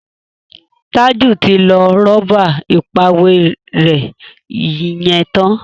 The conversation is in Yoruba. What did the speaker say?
Taju tí lọ Rọ́bà ìpàwérẹ́ yén tán.